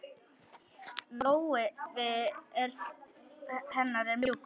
Lófi hennar var mjúkur.